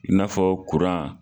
I n'afɔ kuran,